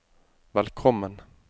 velkommen